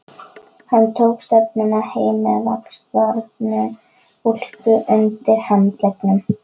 Hann tók stefnuna heim með vaxbornu úlpuna undir handleggnum.